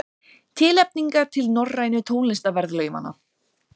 Tilnefningar til Norrænu tónlistarverðlaunanna